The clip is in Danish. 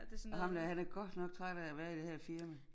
Og ham der han er godt nok træt af at være i det her firma